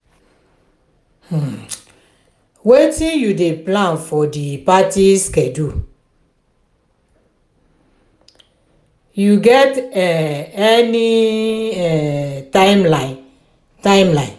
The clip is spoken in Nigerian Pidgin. um wetin you dey plan for di party schedule um you get any um timeline? timeline?